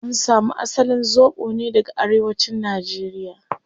An samu asalin zobo ne daga arewacin nigeria